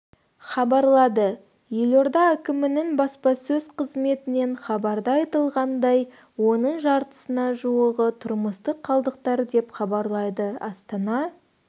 хабарлады елорда әкімінің баспасөз қызметінен хабарда айтылғандай оның жартысына жуығы тұрмыстық қалдықтар деп хабарлайды астана